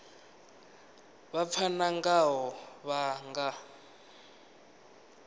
vha pfana ngaho vha nga